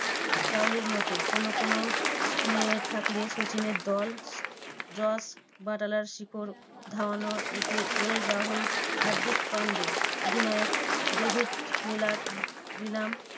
চাহালের মতো কোনো কোনো spinner থাকলে সচিনের দল জস বাটলার, শিখর ধাওয়ান ও কে এল রাহুল, হার্দিক পান্ডিয়া, অধিনায়ক ডেভিড মিলার নিলাম